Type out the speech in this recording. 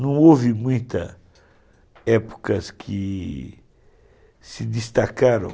Não houve muitas épocas que se destacaram.